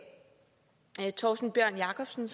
torsten bjørn jacobsen